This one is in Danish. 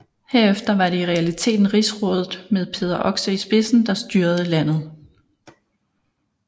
Herefter var det i realiteten Rigsrådet med Peder Oxe i spidsen der styrede landet